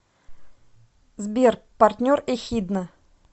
сбер партнер эхидна